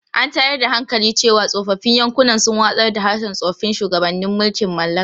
An tayar da hankali cewa tsofaffin yankunan sun watsar da harshen tsoffin shugabannin mulkin mallaka.